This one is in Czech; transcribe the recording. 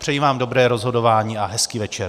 Přeji vám dobré rozhodování a hezký večer.